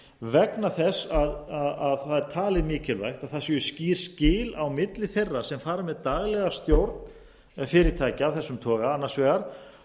vegna þess að það er talið mikilvægt að skýr skil séu á milli þeirra sem fara með daglega stjórn fyrirtækja af þessum toga annars vegar